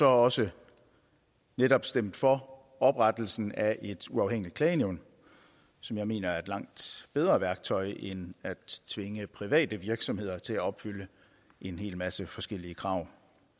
også netop stemt for oprettelsen af et uafhængigt klagenævn som jeg mener er et langt bedre værktøj end at tvinge private virksomheder til at opfylde en hel masse forskellige krav